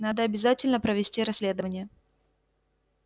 надо обязательно провести расследование